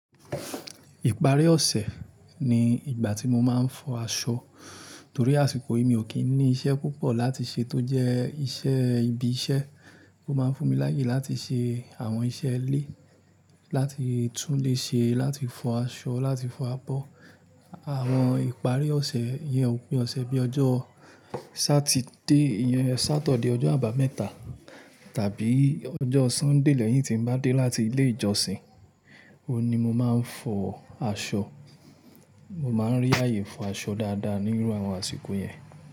Ìparí ọ̀sẹ̀ ni ìgbà tí mo máa ń fọ aṣọ, torí àsìkò yìí mi ò kí ń ní iṣẹ́ púpọ̀ láti ṣe tó jẹ́ iṣẹ́ ibi iṣẹ́. Ó máa ń fún mi láyè láti ṣe àwọn iṣẹ́ ilé, láti tún léṣe, láti fọ aṣọ, láti fọ abọ́. Àwọn ìparí ọ̀sẹ̀ yẹn, òpin ọ̀sẹ̀ bíi ọjọ́ Sátidé, eyin Sátọ̀dì, ọjọ́ àbámẹ́ta tàbí ọjọ́ Sọ́ńdè lẹ́yìn tí n bá dé láti ilé ìjọsìn, òun ni mo máa ń fọ aṣọ. Mo máa ń rí àyè fọ aṣọ dáadáa nínú àwọn àsìkò yẹn.